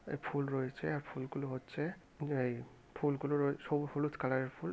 এই ফুল রয়েছে ফুলগুলো হচ্ছে যে-এ ফুল গুলো সো হলুদ কালার -এর ফুল।